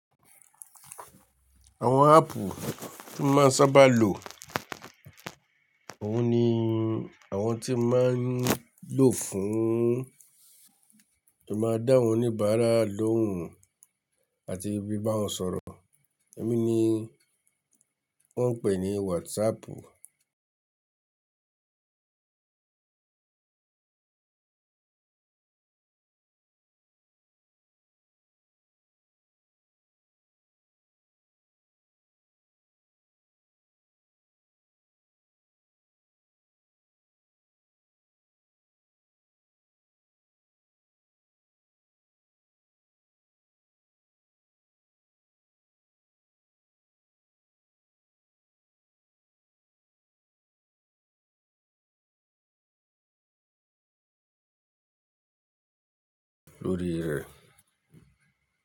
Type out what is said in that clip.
Àwọn áàpù tí máa ń sábà lò, òun ni àwọn tí máa ń lò fún kí o máa dá wọn oníbàárà lóhùn àti bí bá wọn sọ̀rọ̀. Ohun ni wọ́n ń pè ní WhatsApp.